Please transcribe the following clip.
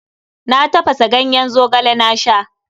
Na tafasa ganyen Zogale na sha.